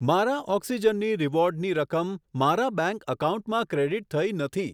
મારા ઓક્સિજન ની રીવોર્ડની રકમ મારા બેંક એકાઉન્ટમાં ક્રેડીટ થઇ નથી.